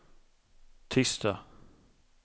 tisdag